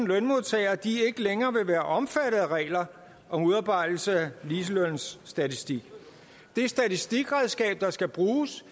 lønmodtagere ikke længere vil være omfattet af regler om udarbejdelse af ligelønsstatistik det statistikredskab der skal bruges